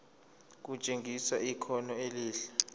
kutshengisa ikhono elihle